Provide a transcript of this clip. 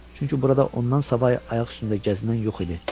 çünki burada ondan savayı ayaq üstündə gəzən yox idi.